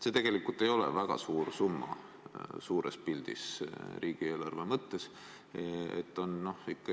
See tegelikult ei ole suures pildis, riigieelarve mõttes väga suur summa.